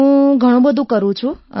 હું ઘણું ફરું છું